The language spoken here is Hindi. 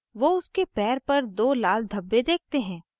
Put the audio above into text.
वो उसके पैर पर दो लाल धब्बे देखते हैं